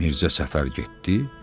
Mirzə səfər getdi.